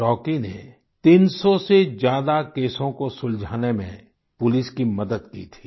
Rocky ने 300 से ज्यादा केसों को सुलझाने में पुलिस की मदद की थी